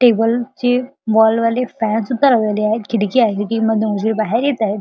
Table चे wall वाले fans पण लावलेले आहेत खिडकी आहे बाहेर येताये.